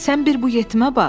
Sən bir bu yetimə bax.